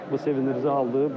Bu sevindirici haldır.